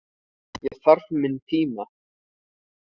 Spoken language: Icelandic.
Ég þarf minn tíma.